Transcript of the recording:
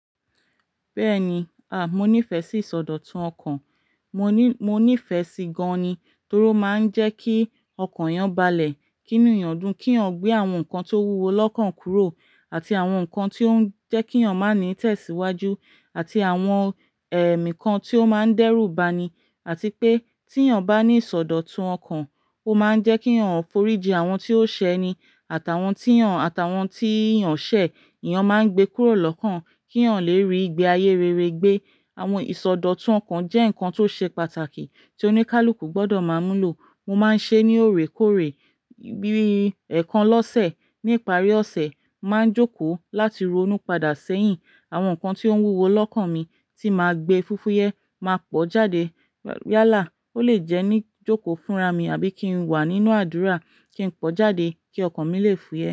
Bẹ́ẹ̀ni, à, mo nífẹ̀ẹ́ sí ìsọdọ̀tun ọkàn. Mo ní, mo nífẹ̀ẹ́ sí i gan-an ni, torí ó máa ń jẹ́ kí ọkàn yàn balẹ̀ kì inu eyan dún, kí ọ gbé àwọn nǹkan tó wúwo lọ́kàn kúrò àti àwọn nǹkan tí ó ń jẹ́ kí ọ máa ní itẹ̀síwájú àti àwọn ẹ̀mí kan tí ó máa ń dẹ́rù bani, àti pé tí eyan bá ní ìsọdọ̀tun ọkàn, ó máa ń jẹ́ kí eyan foríji àwọn tí ó ṣẹ́ eni àtàwọn tí ọ, àtàwọn tí eyàn ṣẹ, eyàn máa gbé kúrò lọ́kàn kí eyan ọ lè rí igbé ayé rere gbé. Àwọn ìsọdọ̀tun ọkàn jẹ́ nǹkan tó ṣe pàtàkì tí oníkálukú gbọdọ̀ máa múlò. Mo máa ń ṣe é ní òrékọ́ọ̀rẹ́, bí i ẹ̀ẹ̀kan lọ́sẹ̀. Ní ìparí ọ̀sẹ̀, màá jókòó láti ronú padà sẹ́yìn àwọn nǹkan tí ó wúwo lọ́kàn mi tí màá gbé fífúyẹ́, máa pọ́ jáde. Yálà, ó lè jẹ́ ní jókòó fúnra mi àbí kí n wà nínú àdúrà kí n pọ́ jáde kí ọkàn mi lè fúyẹ́.